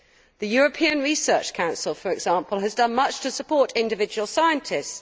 The European Research Council, for example, has done much to support individual scientists.